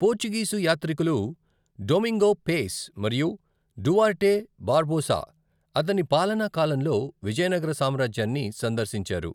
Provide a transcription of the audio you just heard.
Portuguese యాత్రికులు Domingo Paes మరియు Duarte Barbosa అతని పాలనా కాలంలో విజయనగర సామ్రాజ్యాన్ని సందర్శించారు.